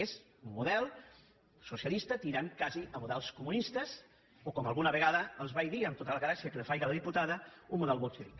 és un model socialista tirant quasi a models comunistes o com alguna vegada els vaig dir amb tota la gràcia que li faci a la diputada un model bolxevic